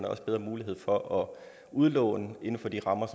også bedre mulighed for at udlåne inden for de rammer